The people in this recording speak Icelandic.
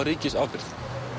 ríkisábyrgð